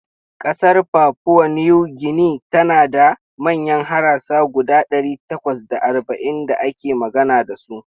Ƙasar papua New Guinea tana da manyan harasa guda ɗari takwas da arba'in da ake magana da su.